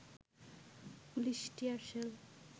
police tear shell